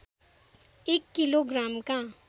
एक किलो ग्रामका